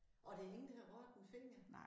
Og der ingen der har rørt en finger